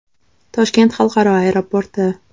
Toshkent xalqaro aeroporti.